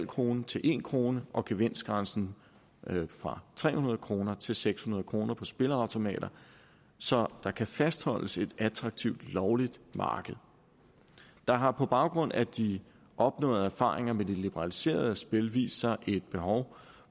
kroner til en kroner og gevinstgrænsen fra tre hundrede kroner til seks hundrede kroner på spilleautomater så der kan fastholdes et attraktivt lovligt marked der har på baggrund af de opnåede erfaringer med de liberaliserede spil vist sig et behov